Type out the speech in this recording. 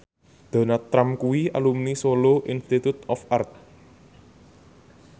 Donald Trump kuwi alumni Solo Institute of Art